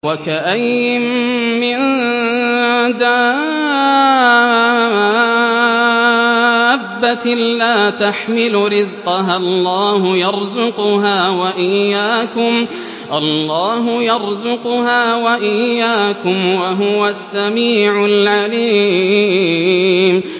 وَكَأَيِّن مِّن دَابَّةٍ لَّا تَحْمِلُ رِزْقَهَا اللَّهُ يَرْزُقُهَا وَإِيَّاكُمْ ۚ وَهُوَ السَّمِيعُ الْعَلِيمُ